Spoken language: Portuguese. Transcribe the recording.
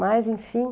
Mas, enfim.